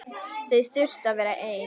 Þau þurfi að vera ein.